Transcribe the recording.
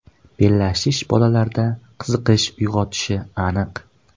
Bellashish bolalarda qiziqish uyg‘otishi aniq.